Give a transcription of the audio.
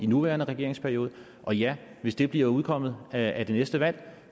nuværende regeringsperiode og ja hvis det bliver udkommet af det næste valg